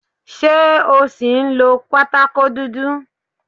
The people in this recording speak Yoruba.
Ṣé o ṣì ń lo pátákó dúdú?